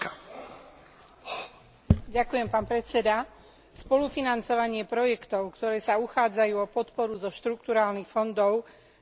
Spolufinancovanie projektov, ktoré sa uchádzajú o podporu zo štrukturálnych fondov, malo zvýšiť efektivitu používania európskych peňazí.